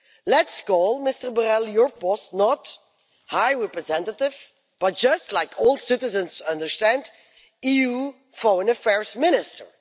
Let's call Mr Borrell, your boss, not High Representative', but just like all citizens understand, EU Foreign Affairs Minister'.